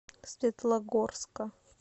светлогорска